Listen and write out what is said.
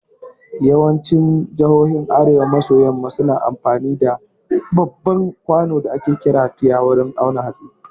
Yawancin jihohin arewa maso yamma suna amfani da babban kwano da ake kira tiya wurin awon hatsi